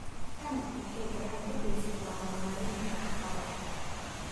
Tani waxay gacan ka geysataa horumarinta waxqabadka.